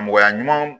Mɔgɔya ɲumanw